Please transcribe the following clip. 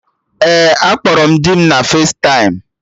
Ee, akpọrọ m dị m.na festaịm